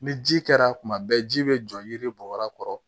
Ni ji kɛra kuma bɛɛ ji bɛ jɔ yiri bɔ yɔrɔ kɔrɔ